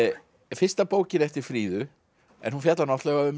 fyrsta bókin eftir Fríðu en hún fjallar náttúrulega um